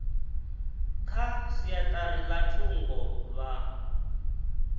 kha siaṱari ḽa thungo vha